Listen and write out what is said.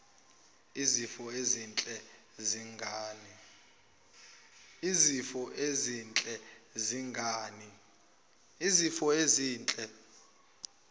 izifiso ezinhle zengane